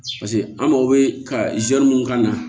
Paseke an mago bɛ ka mun kan na